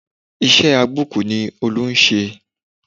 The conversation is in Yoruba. Iṣẹ́ agbókùú ni Olú ń ṣe